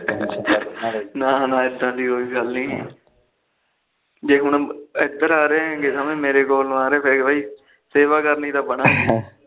ਨਾ ਨਾ ਇਦਾ ਦੀ ਕੋਈ ਗੱਲ ਨੀ ਜੇ ਹੁਣ ਇਧਰ ਆ ਰਹੇ ਤਾ ਮੇਰੇ ਕੋਲ ਆ ਰਹੇ ਬਈ ਸੇਵਾ ਕਰਨੀ ਦਾ